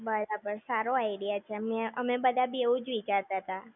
બરાબર, સારો idea છે. મેં, અમે બધા બી એવું જ વિચારતાતા